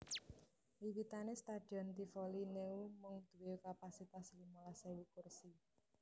Wiwitané Stadion Tivoli Neu mung duwé kapasitas limolas ewu kursi